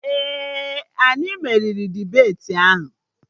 Ee, anyị meriri dibeti ahụ